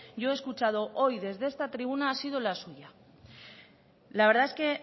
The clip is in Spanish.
yo he escuchado hoy desde esta tribuna ha sido la suya la verdad es que